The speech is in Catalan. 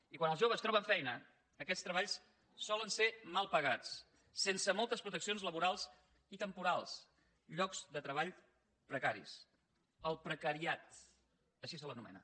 i quan els joves troben feina aquests treballs solen ser mal pagats sense moltes proteccions laborals i temporals llocs de treball precaris el precariat així se l’anomena